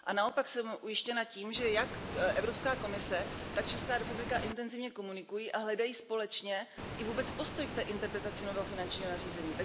A naopak jsem ujištěna tím, že jak Evropská komise, tak Česká republika intenzivně komunikují a hledají společně i vůbec postoj k té interpretaci nového finančního nařízení.